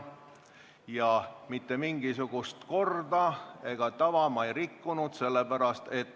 Ja mitte mingisugust korda ega tava ma sellega ei rikkunud.